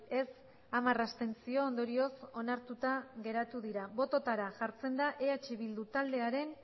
ez hamar abstentzio ondorioz onartuta geratu dira bototara jartzen da eh bildu taldearen